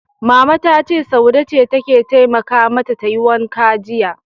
Mama ta ce, Saude ce ta taimaka mata tayi wankan jiya.